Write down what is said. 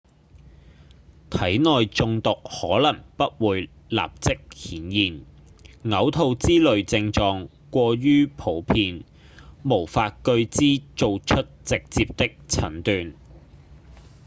體內中毒可能不會立即顯現嘔吐之類症狀過於普遍無法據之做出直接的診斷